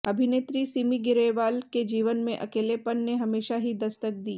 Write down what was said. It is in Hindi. अभिनेत्री सिमी ग्रेवाल के जीवन में अकेलेपन ने हमेशा ही दस्तक दी